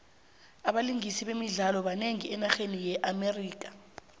abalingisi bemidlalo banengi enarheni ye amerika